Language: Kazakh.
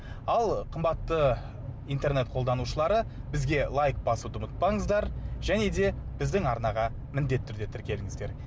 ал қымбатты интернет қолданушылары бізге лайк басуды ұмытпаңыздар және де біздің арнаға міндетті түрде тіркеліңіздер